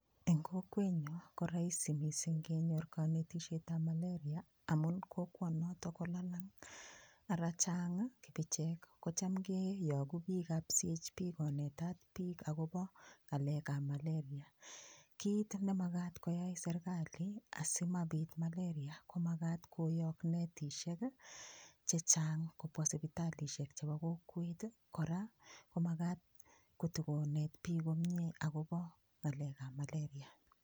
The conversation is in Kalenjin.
Eng' kokwenyo korahisi mising' kenyor kanetishetab malaria amun kokwonoto kolalang' ara chang' kibichek kocham keyoku biikab CHP konetat biik akobo ng'alekab malaria kiit makat koyai serikali asimapit [cs[ malaria komakat koyok netishek chechang' kopwa sipitalishek chebo kokwet kora komakat kotikonet biik komie akobo ng'alekab malaria